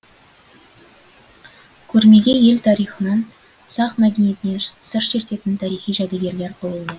көрмеге ел тарихынан сақ мәдениетінен сыр шертетін тарихи жәдігерлер қойылды